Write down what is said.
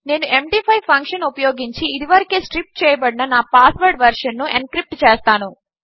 నేను ఎండీ5 ఫంక్షన్ఉపయోగించిఇదివరకేస్ట్రిప్చేయబడిననాపాస్వర్డ్వెర్షన్నుఎన్క్రిప్ట్చేస్తాను